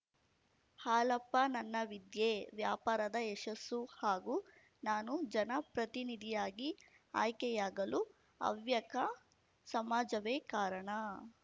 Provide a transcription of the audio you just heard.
ಹಾಲಪ್ಪ ನನ್ನ ವಿದ್ಯೆ ವ್ಯಾಪಾರದ ಯಶಸ್ಸು ಹಾಗೂ ನಾನು ಜನಪ್ರತಿನಿಧಿಯಾಗಿ ಆಯ್ಕೆಯಾಗಲು ಹವ್ಯಕ ಸಮಾಜವೇ ಕಾರಣ